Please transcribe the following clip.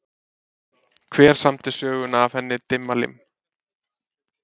Hver samdi söguna af henni Dimmalimm?